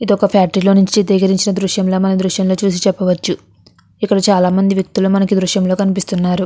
ఇది ఒక ఫ్యాక్టరీలో నుంచి చిత్రీకరించిన ఒక దృశ్యం లో మనం ఈ దృశ్యం లో చూసి చెప్పవచ్చు ఇక్కడ చాలామంది వ్యక్తులు మనకు ఈ దృశ్యం లో కనిపిస్తున్నారు.